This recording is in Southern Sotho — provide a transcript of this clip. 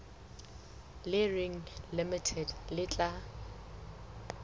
le reng limited le tla